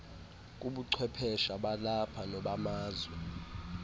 kubuchwephesha balapha nobamazwe